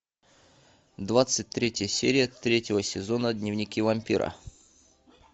двадцать третья серия третьего сезона дневники вампира